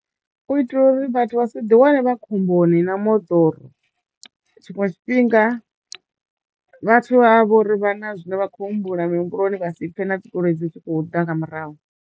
U itela uri vhathu vha sa ḓi wane vha khomboni na moḓoro tshiṅwe tshifhinga vhathu vha vha vho ri vha na zwine vha khou humbula mihumbuloni vha si pfhe na dzigoloi dzi tshi khou ḓa nga murahu.